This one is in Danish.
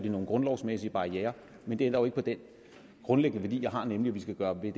i nogle grundlovsmæssige barrierer men det ændrer jo ikke på den grundlæggende værdi jeg har nemlig at vi skal gøre hvad